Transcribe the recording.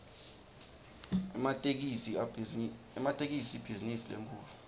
ematekisi ibhizinisi lenkhulu